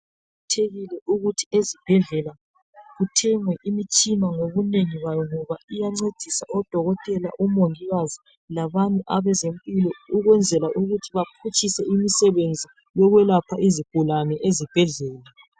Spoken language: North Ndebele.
Kuqakathekile ukuthi ezibhedlela kuthengwe imitshina ngobunengi bayo ngoba iyancedisa odokotela omongikazi labanye abezempilo ukwenzela ukuthi baphutshise imisebenzi yokwelapha izigulani ezibhedlela